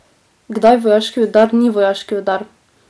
Kdaj vojaški udar ni vojaški udar?